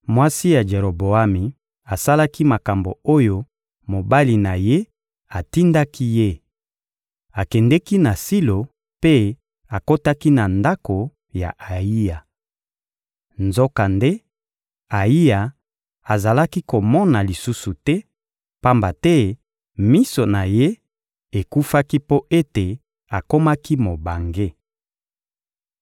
Mwasi ya Jeroboami asalaki makambo oyo mobali na ye atindaki ye: akendeki na Silo mpe akotaki na ndako ya Ayiya. Nzokande, Ayiya azalaki komona lisusu te, pamba te miso na ye ekufaki mpo ete akomaki mobange.